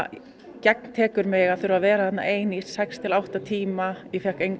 gagntekur mig að þurfa að vera þarna ein í sex til átta tíma ég fékk